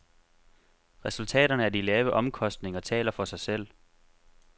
Resultaterne af de lave omkostninger taler for sig selv.